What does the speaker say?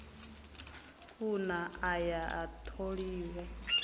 kuna a ya a tholiwa